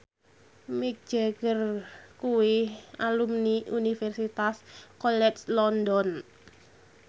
Mick Jagger kuwi alumni Universitas College London